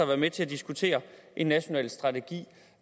være med til at diskutere en national strategi